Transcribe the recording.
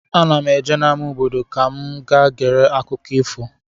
Ana m eje n'ama obodo ka m gaa gere akụkọ ifo.